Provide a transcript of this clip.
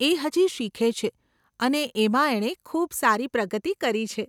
એ હજી શીખે છે અને એમાં એણે ખૂબ સારી પ્રગતિ કરી છે.